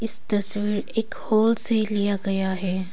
इस तस्वीर एक हॉल से लिया गया है।